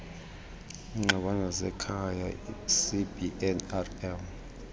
iingxabano zasekhaya icbnrm